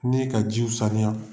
Ne ka jiw saniya